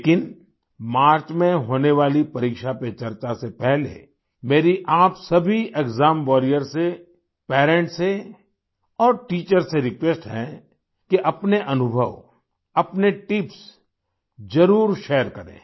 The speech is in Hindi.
लेकिन मार्च में होने वाली परीक्षा पे चर्चा से पहले मेरी आप सभी एक्साम वॉरियर्स से पेरेंट्स से और टीचर्स से रिक्वेस्ट है कि अपने अनुभव अपने टिप्स ज़रूर शेयर करें